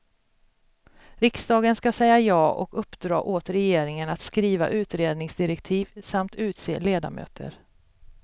Riksdagen skall säga ja och uppdra åt regeringen att skriva utredningsdirektiv samt utse ledamöter.